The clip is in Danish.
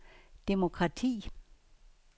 demokrati